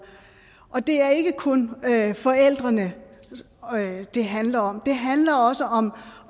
og det er ikke kun forældrene det handler om det handler også om